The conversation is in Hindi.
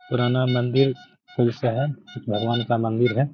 पुराना मंदिर है। भगवान का मंदिर है। .